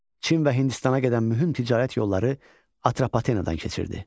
Çin və Hindistana qədər mühüm ticarət yolları Atropatenadan keçirdi.